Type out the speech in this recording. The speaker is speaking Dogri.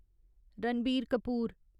रणबीर कपूर